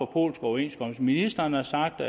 polske overenskomster ministeren har sagt og